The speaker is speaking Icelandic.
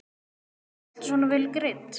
Berghildur: Alltaf svona vel greidd?